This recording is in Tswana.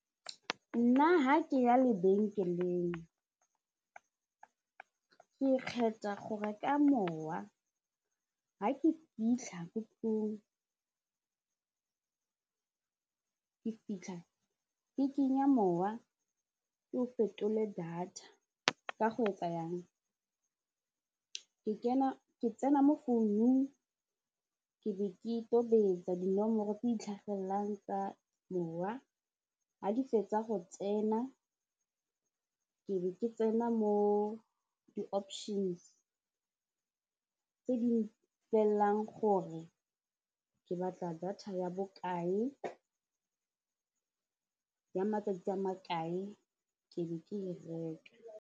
Nna ha ke ya lebenkeleng ke kgetha go reka mowa ga ke fitlha ko ke fitlha ke kenya mowa ke o fetole data ka go etsa yang ke tsena mo phone-ung ke be ke tobetsa dinomoro tse di tlhagelelang tsa mowa ga di fetsa go tsena ke be ke tsena mo di-options tse di mpolelelang gore ke batla data ya bokae ya matsatsi a makae ke be ke e reka.